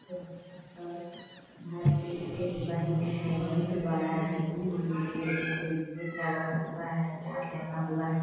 यहाँ पर भारतीय स्टेट बैंक है। बहुत बड़ा है। लगा हुआ है तार लगा हुआ है।